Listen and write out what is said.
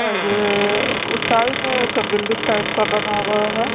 अह ये उस साइड में एक बिल्डिंग टाइप का बना हुआ है।